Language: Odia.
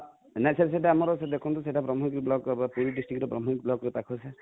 ନାଇ sir ସେଟା ଆମର ଦେଖନ୍ତୁ ସେଟା ବ୍ରହ୍ମଗିରି block ର ହେବ same district ରେ ବ୍ରହ୍ମଗିରି block ରୁ ପାଖ sir